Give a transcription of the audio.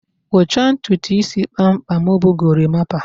Ịkpụcha ntutu isi kpamkpam bụ gorimapa